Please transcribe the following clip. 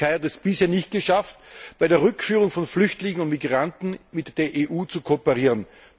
Denn die Türkei hat es bisher nicht geschafft, bei der Rückführung von Flüchtlingen und Migranten mit der EU zu kooperieren.